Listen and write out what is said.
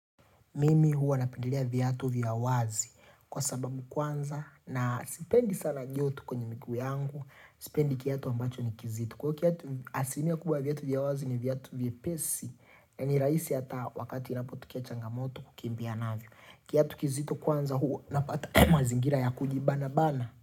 Mimi huwa napendelea viatu vya wazi kwa sababu kwanza na sipendi sana joto kwenye miguu yangu. Sipendi kiatu ambacho ni kizito. Kwahiyo kiatu asilimia kubwa viatu vya wazi ni viatu vye pesi. Na nirahisi hata wakati inapotokea changamoto kukimbia navyo. Kiatu kizito kwanza huwa napata mazingira ya kujibana bana.